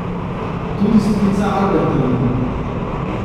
Tudi strica Alberta vidim.